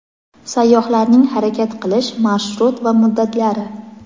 sayyohlarning harakat qilish marshrut va muddatlari.